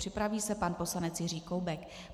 Připraví se pan poslanec Jiří Koubek.